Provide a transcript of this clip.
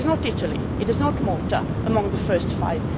in. And that is not Italy, it is not Malta, among the first five.